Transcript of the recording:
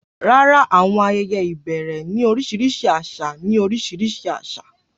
Rárá, àwọn ayẹyẹ ìbẹ̀rẹ̀ ní oríṣiríṣi àṣà ní oríṣiríṣi àṣà.